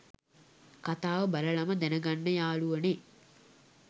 කතාව බලලම දැනගන්න යාළුවනේ